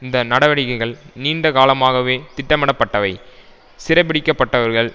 இந்த நடவடிக்கைகள் நீண்ட காலமாகவே திட்டமிடப்பட்டவை சிறைபிடிக்கப்பட்டவர்கள்